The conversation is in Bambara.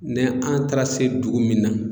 Ni an taara se dugu min na